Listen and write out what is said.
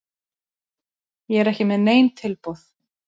Ég er ekki með nein tilboð.